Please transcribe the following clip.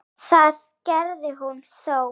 Það gerði hún þó.